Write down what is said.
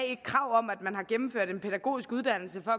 et krav om at man har gennemført en pædagogisk uddannelse for